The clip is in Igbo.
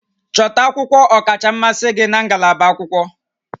Chọta akwụkwọ ọkacha mmasị gị na ngalaba akwụkwọ